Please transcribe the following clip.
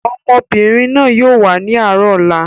Ọmọbìnrin náà yìí ó wà ní àárọ̀ ọ̀la.